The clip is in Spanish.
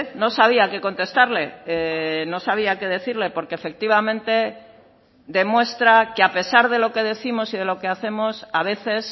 no sabía qué contestarle no sabía que decirle porque efectivamente demuestra que a pesar de lo que décimos y de lo que hacemos a veces